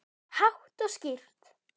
Hátt og skýrt.